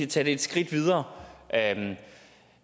tage det et skridt videre at